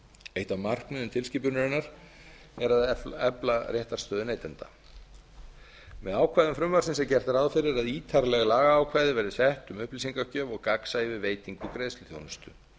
eitt af markmiðum tilskipunarinnar er að efla réttarstöðu neytenda með ákvæðum frumvarpsins er gert ráð fyrir að ítarleg lagaákvæði verði sett um upplýsingagjöf og gagnsæi um veitingu greiðsluþjónustu